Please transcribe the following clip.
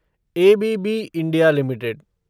ABB India limited